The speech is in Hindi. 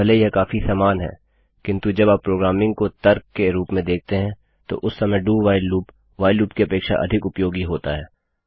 भले ही यह काफी समान है किन्तु जब आप प्रोग्रामिंग को तर्क के रूप में देखते हैं तो उस समय do while loop while loop की अपेक्षा अधिक उपयोगी होता है